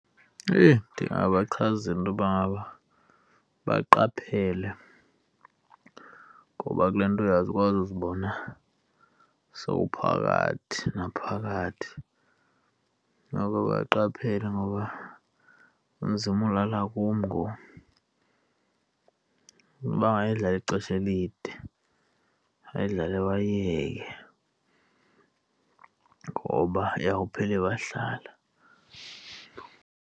Eyi! Ndingabachazela intoba ngaba baqaphele ngoba kule nto uyakwazi uzibona sowuphakathi naphakathi nabo baqaphela ngoba kunzima ulala kum ngoku. Bangayidlali ixesha elide, bayidlale bayiyeke ngoba iyawuphela ibahlala.